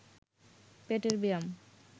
পেটের ব্যায়াম